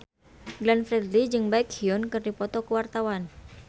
Glenn Fredly jeung Baekhyun keur dipoto ku wartawan